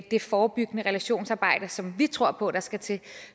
det forebyggende relationsarbejde som vi tror på skal til